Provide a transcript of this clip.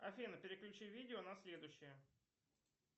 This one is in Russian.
афина переключи видео на следующее